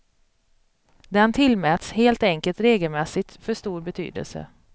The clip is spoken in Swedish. Den tillmäts helt enkelt regelmässigt för stor betydelse.